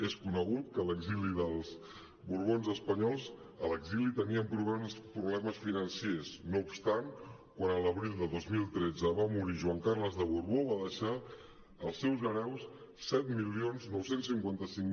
és conegut que l’exili dels borbons espanyols a l’exili tenien problemes financers no obstant quan a l’abril de dos mil tretze va morir joan carles de borbó va deixar als seus hereus set mil nou cents i cinquanta cinc